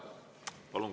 Palun!